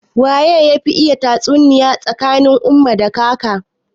Waye yafi iya tatsuniya tsakanin umma da kaka?